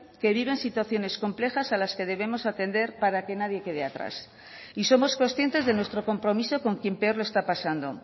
que viven situaciones complejas a las que debemos atender para que nadie quede atrás y somos conscientes de nuestro compromiso con quien peor lo está pasando